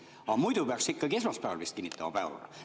Aga muidu peaks ikkagi esmaspäeval vist kinnitama päevakorra.